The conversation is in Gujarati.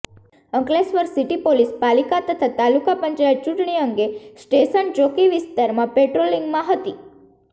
અંકલેશ્વર સિટી પોલીસ પાલીકા તથા તાલુકા પંચાયત ચુટણી અંગે સ્ટેશન ચોકી વિસ્તારમાં પેટ્રોલીંગમાં હતી